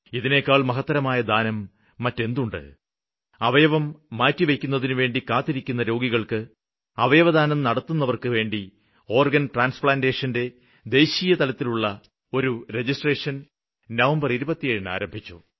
ഇതിനേക്കാള് മഹത്തരമായ ദാനം മറ്റെന്തുണ്ട് അവയവം മാറ്റിവെയ്ക്കുന്നതിനുവേണ്ടി കാത്തിരിക്കുന്ന രോഗികള്ക്ക് അവയവദാനം നടത്തുന്നവര്ക്ക് വേണ്ടി ഓര്ഗന് ട്രാന്സ്പ്ലാന്റേഷന്റെ ദേശീയതലത്തിലുള്ള ഒരു രജിസ്ട്രേഷന് നവംബര് 27 ന് ആരംഭിച്ചു